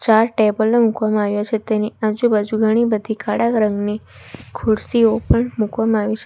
બહાર ટેબલ ઑ મુકવામાં આવ્યા છે તેની આજુબાજુ ઘણી બધી કાળા રંગની ખુરસીઓ પણ મૂકવામાં આવી છે.